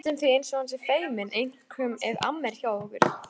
Það er næstum því eins og hann sé feiminn, einkum ef amma er hjá okkur.